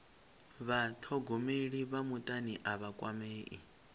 vhathogomeli vha mutani a vha kwamei